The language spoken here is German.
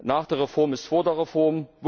Nach der Reform ist vor der Reform.